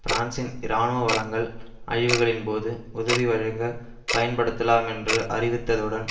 பிரான்சின் இராணுவ வளங்கள் அழிவுகளின் போது உதவி வழங்க பயன்படுத்தலாமென்று அறிவித்ததுடன்